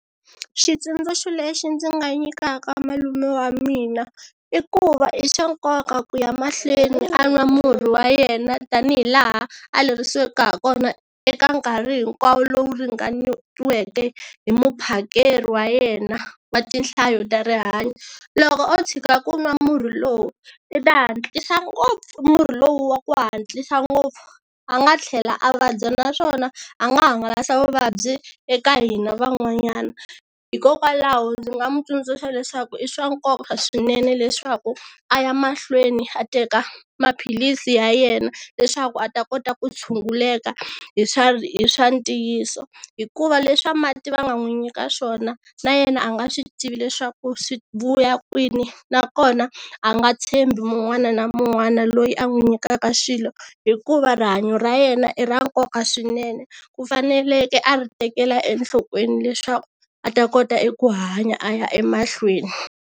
Xitsundzuxo lexi ndzi nga nyikaka malume wa mina i ku va i swa nkoka ku ya mahlweni a nwa murhi wa yena tanihi laha a lerisiweke ha kona eka nkarhi hinkwawo lowu ringanerisiweke hi muphakeri wa yena wa tinhlayo ta rihanyoo, loko o tshika ku nwa murhi lowu i ta hatlisa ngopfu murhi lowu wa ku hatlisa ngopfu a nga tlhela a vabya naswona a nga hangalasa vuvabyi eka hina van'wanyana. Hikokwalaho ndzi nga n'wi tsundzuxa leswaku i swa nkoka swinene leswaku a ya mahlweni a teka maphilisi ya yena leswaku a ta kota ku tshunguleka hi swa hi swa ntiyiso hikuva leswa mati va nga n'wi nyika swona na yena a nga swi tivi leswaku swi vuya kwini nakona a nga tshembi mun'wana na mun'wana loyi a n'wi nyikaka xilo hikuva rihanyo ra yena i ra nkoka swinene ku faneleke a ri tekela enhlokweni leswaku a ta kota eku hanya a ya emahlweni.